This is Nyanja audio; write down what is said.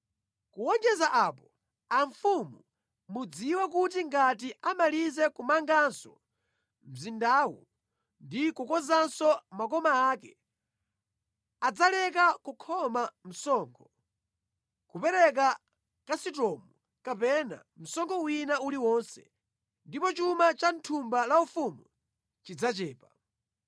Kuwonjeza apo amfumu mudziwe kuti ngati amalize kumanganso mzindawu ndi kukonzanso makoma ake, adzaleka kukhoma msonkho, kulipira ndalama zakatundu olowa mʼdziko kapena msonkho wina uliwonse, ndipo chuma cha thumba la ufumu chidzachepa.